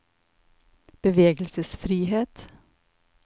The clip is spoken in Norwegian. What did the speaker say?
bevegelsesfrihet